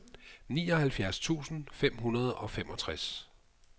nioghalvfjerds tusind fem hundrede og femogtres